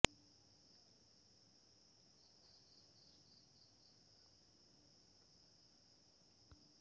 মৈৰাবাৰীত চক্ৰ আৰক্ষী পৰিদৰ্শকৰ অভিযানত হেলমেট আৰু মাক্ছ নথকা মটৰ চাইকেলৰ পৰা ফাইন সংগ্ৰহ